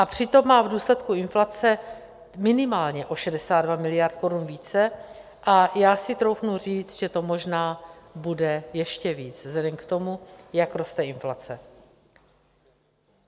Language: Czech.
A přitom má v důsledku inflace minimálně o 62 miliard korun více a já si troufnu říct, že to možná bude ještě víc vzhledem k tomu, jak roste inflace.